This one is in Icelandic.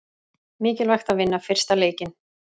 Mikilvægt að vinna fyrsta leikinn